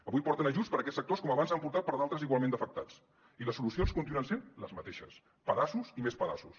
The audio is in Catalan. avui porten ajuts per a aquests sectors com abans n’han portat per a d’altres igualment d’afectats i les solucions continuen sent les mateixes pedaços i més pedaços